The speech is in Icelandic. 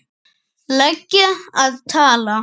lega að tala?